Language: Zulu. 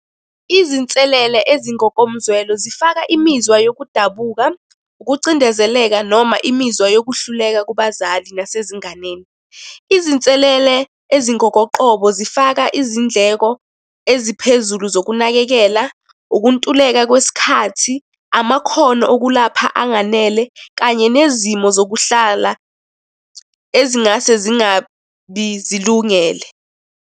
Izinselele ezingokomzwelo zifaka imizwa yokudabuka, ukucindezeleka noma imizwa yokuhluleka kubazali nasezinganeni. Izinselele ezingokoqobo zifaka izindleko eziphezulu zokunakekela, ukuntuleka kwesikhathi, amakhono okulapha anganele, kanye nezimo zokuhlala ezingase zingabi zilungele.